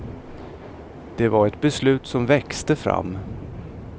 Det var ett beslut som växte fram.